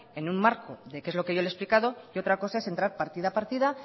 en un marco de que es lo que yo le he explicado y otra cosa es entrar partida a partida